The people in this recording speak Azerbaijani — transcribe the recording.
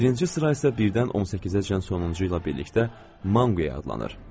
Birinci sıra isə 1-dən 18-əcən sonuncu ilə birlikdə “Manqi” adlanır.